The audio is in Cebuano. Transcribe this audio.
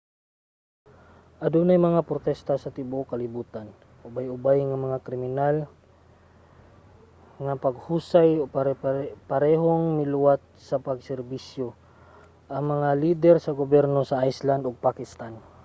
adunay mga protesta sa tibuok kalibutan ubay-ubay nga kriminal nga paghusay ug parehong miluwat sa pag-serbisyo ang mga lider sa gobyerno sa iceland ug pakistan